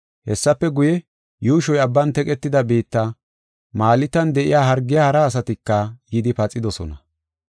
Hessafe guye, yuushoy abban teqetida biitta, Maltan de7iya hargiya hara asatika yidi paxidosona.